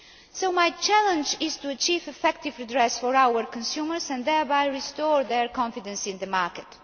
So my challenge is to achieve effective redress for our consumers and thereby restore their confidence in the